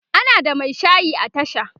ana da Mai shayi a tasha